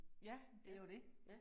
Ja, det jo det